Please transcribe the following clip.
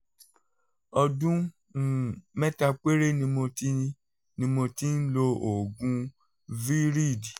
ọdún um mẹ́ta péré ni mo ti ni mo ti ń lo oògùn viread